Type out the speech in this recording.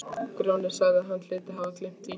Grjóni sagði að hann hlyti að hafa gleymt því.